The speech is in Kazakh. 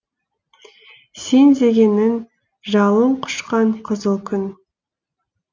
сен дегенің жалын құшқан қызыл күн